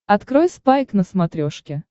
открой спайк на смотрешке